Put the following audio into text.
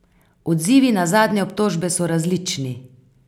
Odzivi na zadnje obtožbe so različni.